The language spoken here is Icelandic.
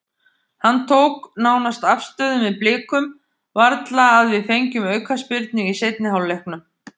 Hann tók nánast afstöðu með Blikum, varla að við fengjum aukaspyrnu í seinni hálfleiknum.